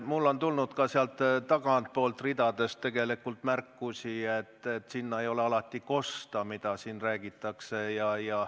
Mulle on tulnud sealt tagantpoolt ridadest tegelikult märkusi, et sinna ei ole alati kosta, mida siin ees räägitakse.